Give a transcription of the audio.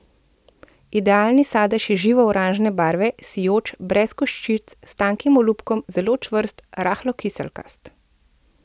Idealni sadež je živo oranžne barve, sijoč, brez koščic, s tankim olupkom, zelo čvrst, rahlo kiselkast.